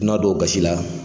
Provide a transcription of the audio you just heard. dunan dɔ gasi la.